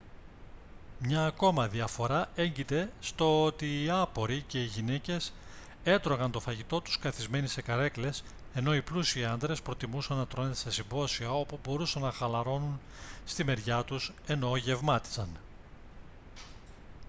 μια ακόμα διαφορά έγκειται στο ότι οι άποροι και οι γυναίκες έτρωγαν το φαγητό τους καθισμένοι σε καρέκλες ενώ οι πλούσιοι άντρες προτιμούσαν να τρώνε σε συμπόσια όπου μπορούσαν να χαλαρώνουν στη μεριά τους ενώ γευμάτιζαν